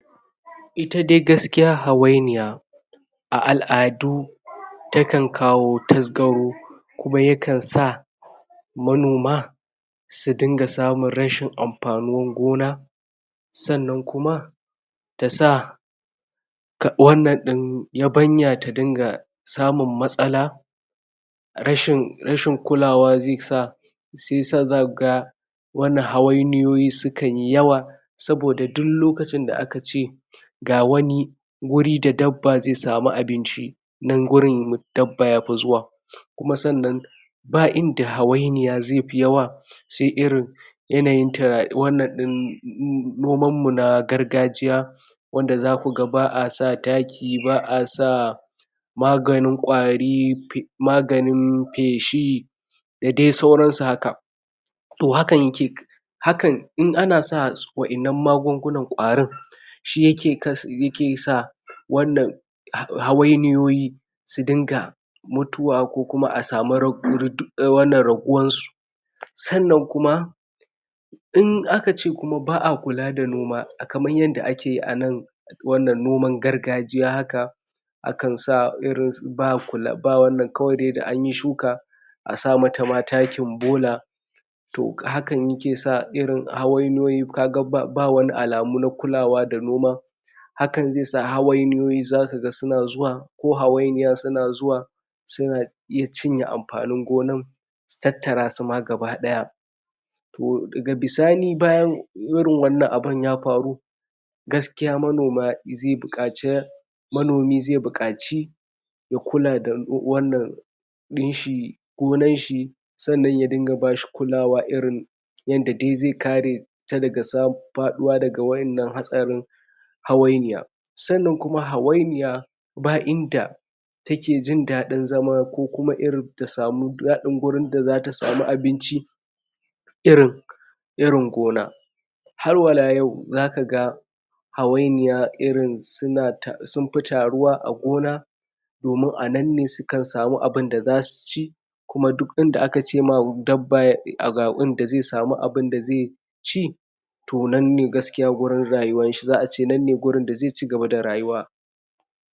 Ita dai gaskiya hawainiya a al'adu takan kawo tasgaro kuma ya kan sa manoma su dinga samun rashin amfanin gona sannan kuma ta sa wannan...yabanya ta dinga samun matsala rashin kulawa zai sa shiya sa za ku ga wani hawainiyoyi sukan yi yawa, saboda duk lokacin da aka ce ga wani wuri da dabba zai sami abinci nan wurin dabba ya fi zuwa kuma sannan, ba inda hawainiya zai fi yawa sai irin, yanayin...wannan ɗin noman mu na gargajiya wanda zaku ga ba'a sa taki, ba a sa... maganin kwari, maganin peshi da dai sauran su haka toh hakan hakan, in ana sa waɗannan magungunnan kwarin shi yake sa wannan hawainiyoyi su dinga mutuwa ko kuma a samu... wannan raguwan su sannan kuma in aka ce kuma ba'a kula da noma kaman yadda ake yi a nan wannan noman gargajiya haka akan sa, irin ba, ba wannan, kawai dai da an yi shuka a sa ma ta ma takin bola toh hakane ke sa irin hawainiyoyi, ka ga ba wani alamu na kulawa da noma hakan zai sa hawainiyoyi, za ka ga suna zuwa, ko hawainiya suna zuwa su na iya cinye amfanin gonan su tattarasu ma gabaɗaya toh daga bisani bayan irin wannan abun ya faru gaskiya manoma zai buƙaci manomi zai buƙaci ya kula da wannan ɗin shi gonan shi, sannan ya dinga bashi kulawa irin yanda dai zai kare ta daga samun... faɗuwa daga waɗannan hatsarin hawainiya sannan kuma hawainiya, ba inda take jin daɗin zama ko kuma irin ta samu daɗin gurin da za ta samu abinci irin irin gona har wala yau zaka ga hawainiya irin sun fi taruwa a gona domin a nan ne su kan samu abinda za su ci kuma duk inda a ka ce ma, dabba ga inda zai samu abin da zai ci toh nan ne gaskiya gurin rayuwan shi, za a ce nan ne gurin da zai cigaba da rayuwa